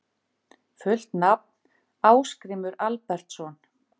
Fullt nafn: Ásgrímur Albertsson